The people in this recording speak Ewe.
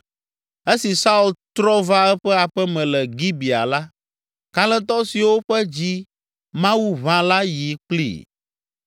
Esi Saul trɔ va eƒe aƒe me le Gibea la, kalẽtɔ siwo ƒe dzi Mawu ʋã la yi kplii.